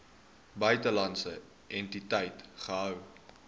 buitelandse entiteit gehou